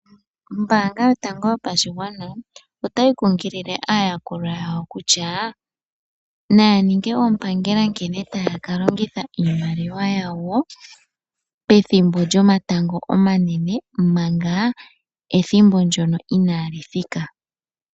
Ombaanga yotango yopashigwana otayi kunkilile aayakulwa yawo kutya, naya ninge oompangela nkene taya kalongitha iimaliwa yawo pethimbo lyomatango omanene, omanga ethimbo lyo inali thika.